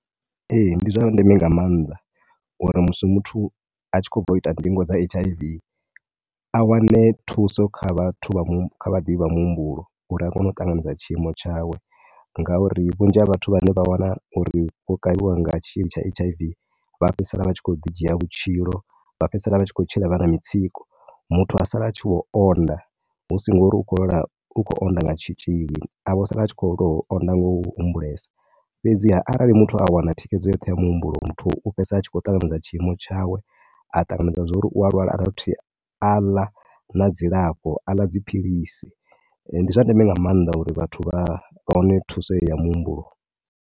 Ee, ndi zwa ndeme nga maanḓa uri musi muthu a tshi khou bva u ita ndingo dza H_I_V a wane thuso kha vhathu, vhaḓivhi vhamuhumbulo uri a kone u ṱanganedza tshiimo tshawe. Ngauri vhunzhi ha vhathu vhane vha wana uri vho kavhiwa nga tshitzhili tsha H_I_V vha fhedzisela vha tshi khou ḓi dzhia vhutshilo, vha fhedziseala vha tshi khou tshila vha na mitsiko. Muthu a sala a tshi khou onda hu si ni ngori u khou lwala, u khou onda nga tshitzhili, a vho sala a tshi vho tou onda nga u humbulesa. Fhedziha rali muthu a wana thikhedzo yoṱhe ya muhumbulo, muthu u fhedzisela a tshi khou ṱanganedza tshiimo tshawe. A ṱanganedza zwa uri u a lwala, a dovha futhi a ḽa na dzilafho, a ḽa dziphilisi. Ndi zwa ndeme nga maanḓa uri vhathu vha, vha wane thuso heyi ya muhumbulo.